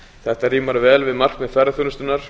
þetta rímar vel við markmið ferðaþjónustunnar